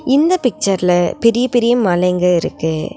இந்த பிக்சர்ல பெரிய பெரிய மலைங்க இருக்கு.